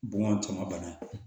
Bɔn cɔnmabana